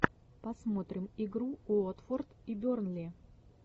посмотрим игру уотфорд и бернли